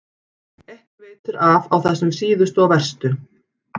Ekki veitir af á þessum síðustu og verstu.